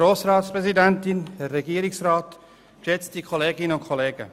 Grossrat Schwaar, Sie haben das Wort.